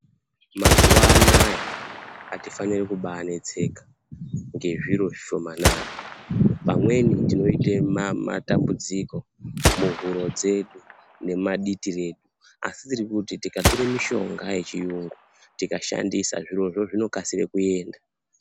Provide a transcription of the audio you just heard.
Mazuwa anaya atifani kubanetseka ngezviro zvishomanana pamweni tinoita matambudziko muhuro dzedu nemumaditi redu asi tiri kuti tikatora mishonga yechiyungu tikashandisa zvirozvo zvinokasira kuenda.